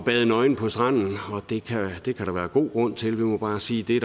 bade nøgen på stranden og det kan der være god grund til vi må bare sige det